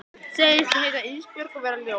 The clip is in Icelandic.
Segist heita Ísbjörg og vera ljón.